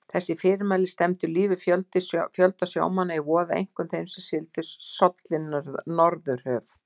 Þessi fyrirmæli stefndu lífi fjölda sjómanna í voða, einkum þeirra, sem sigldu sollin norðurhöf.